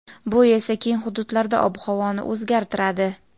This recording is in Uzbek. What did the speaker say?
bu esa keng hududlarda ob-havoni o‘zgartiradi.